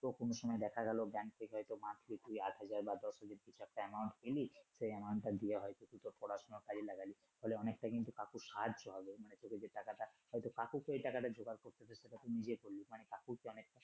তো কোন সময় দেখা গেলো ব্যাংক থেকে হয়তো monthly আট হাজার বা দশ হাজার কিছু একটা amount পেলি। সেই amount টা দিয়ে হয়তো তোর পড়াশুনার কাজে লাগালি। ফলে অনেক টা কিন্তু কাকুর সাহায্য হবে মানে তোকে যে টাকা হয়তো কাকুকে এই টাকাটা জোগাড় হতো সেটা তুই নিজে করলি মানে কাকুর তো অনেক